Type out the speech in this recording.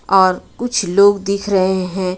और कुछ लोग दिख रहे हैं.